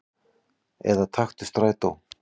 Eða taktu strætó.